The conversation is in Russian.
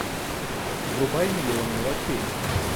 врубай миллион мелочей